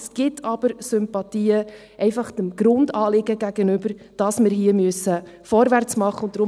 Es gibt aber Sympathien, einfach dem Grundanliegen gegenüber, dass wir hier vorwärts machen müssen.